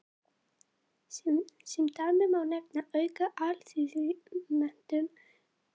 Sem dæmi má nefna aukna alþýðumenntun og jafnari aðgang að gæðum í samfélaginu.